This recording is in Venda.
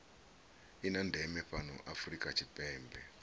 ndeme fhano afrika tshipembe hu